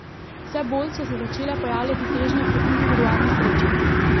Vse bolj so se začele pojavljati težnje k individualni sreči.